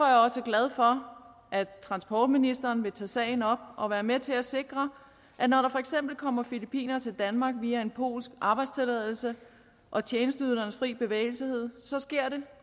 jeg også glad for at transportministeren vil tage sagen op og være med til at sikre at når der for eksempel kommer filippinere til danmark via en polsk arbejdstilladelse og tjenesteydelsernes frie bevægelse sker det